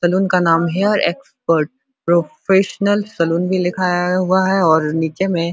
salon का नाम hair expert professional salon भी लिखा हुआ है और सैलून में --